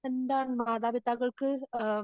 എന്താണ് മാതാപിതാക്കൾക്ക് ആഹ്